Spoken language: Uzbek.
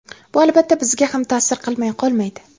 Bu albatta bizga ham ta’sir qilmay qolmaydi.